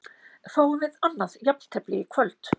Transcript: Fáum við annað jafntefli í kvöld?